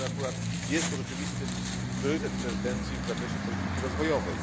Wiemy, że akurat jest to rzeczywisty priorytet prezydencji w zakresie polityki rozwojowej.